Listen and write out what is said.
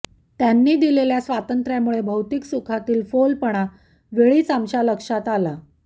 त्यांनी दिलेल्या स्वातंत्र्यामुळे भौतिक सुखातील फोलपणा वेळीच आमच्या लक्षात आला